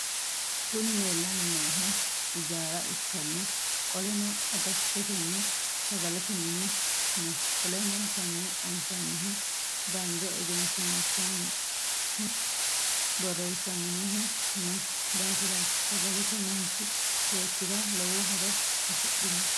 Kuni leellanni noohu ijaara ikkanna qoleno agattotenna sagalete mini no qollenno konne anfannihu bande egenshiiahahu borreessaminohu noo daafiraati sagaleeti manchi beettira lowo horo afidhinote.